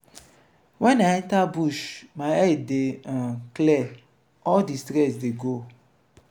wen i enter bush my head dey um clear all di stress dey go.